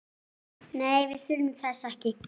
Nei, við þurfum þess ekki.